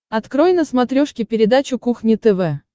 открой на смотрешке передачу кухня тв